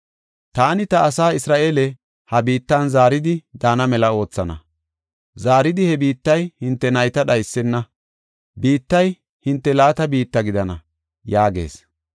Taani ta asaa Isra7eele, ha biittan zaaridi daana mela oothana. Zaaridi he biittay hinte nayta dhaysena; biittay hinte laata biitta gidana” yaagees.